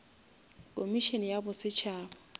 komišene ya bosetšhaba